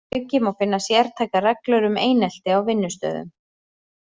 Þar að auki má finna sértækar reglur um einelti á vinnustöðum.